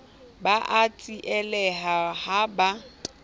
ba a tsieleha ha ba